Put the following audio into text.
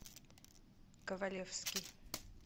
ковалевский